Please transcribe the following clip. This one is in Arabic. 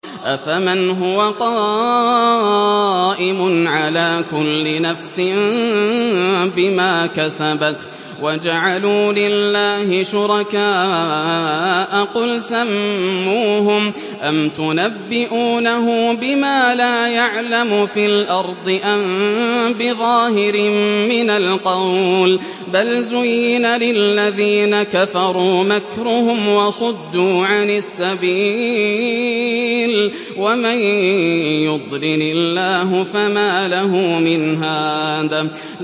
أَفَمَنْ هُوَ قَائِمٌ عَلَىٰ كُلِّ نَفْسٍ بِمَا كَسَبَتْ ۗ وَجَعَلُوا لِلَّهِ شُرَكَاءَ قُلْ سَمُّوهُمْ ۚ أَمْ تُنَبِّئُونَهُ بِمَا لَا يَعْلَمُ فِي الْأَرْضِ أَم بِظَاهِرٍ مِّنَ الْقَوْلِ ۗ بَلْ زُيِّنَ لِلَّذِينَ كَفَرُوا مَكْرُهُمْ وَصُدُّوا عَنِ السَّبِيلِ ۗ وَمَن يُضْلِلِ اللَّهُ فَمَا لَهُ مِنْ هَادٍ